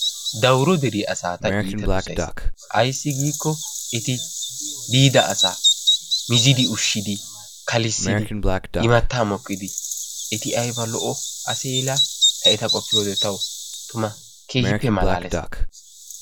Dawuro deriyaa asaa ta iita dossays. Ayssi giiko eti biida asaa miizidi ushshidi kalissidi, immata mokkidi, eti aybba lo''o asee laa! ta eta qoppiyode tawu tuma keehippe malaalees.